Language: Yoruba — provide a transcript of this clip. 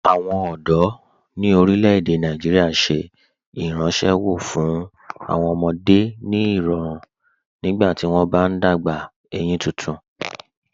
Awọn ọdọ ni orílẹ̀-èdè Nàìjíríà ṣẹ̀ ìrànṣéwọ́ fún awọn ọmọdé ni irọ̀run nígbàtí wọn bá n dágbà eyín tuntun.